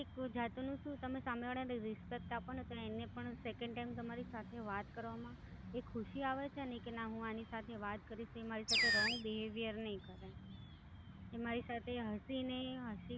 એક જાતનું શું, તમે સામે વાળને Respect આપો ને તો એમને પણ Second time તમારી સાથે વાત કરવામાં એક ખુશી આવે છે કે ના હું એમને સાથે વાત કરીશ, તો એ મારી સાથે Wrong behavior નહીં કરે. એ મારી સાથે હસીને, હસી